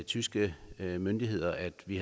tyske myndigheder at vi